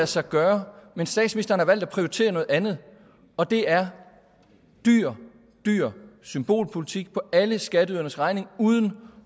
sig gøre men statsministeren har valgt at prioritere noget andet og det er dyr dyr symbolpolitik på alle skatteyderes regning uden